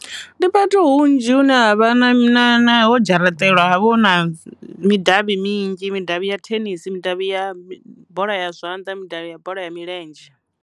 Ndi fhethu hunzhi hune havha na na ho dzharaṱeliwa havha hu na midavhi minzhi midavhi ya thenisi, midavhi ya bola ya zwanḓa, midavhi ya bola ya milenzhe.